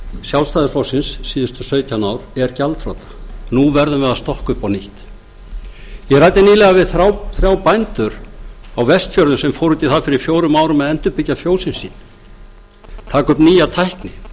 sjálfstæðisflokksins síðustu sautján ár er gjaldþrota nú verðum við að stokka upp á nýtt ég ræddi nýlega við þrjá bændur á vestfjörðum sem fóru út í það fyrir fjórum árum að endurbyggja fjósin sín taka upp nýja tækni